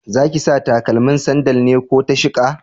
Zaki sa stakalmin sandal ne ko ta sheƙa?